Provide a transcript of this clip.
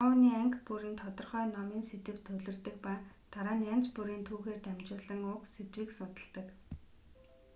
шоуны анги бүр нь тодорхой номын сэдэвт төвлөрдөг ба дараа нь янз бүрийн түүхээр дамжуулан уг сэдвийг судалдаг